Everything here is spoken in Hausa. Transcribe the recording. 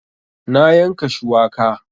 Na yanka shuwaka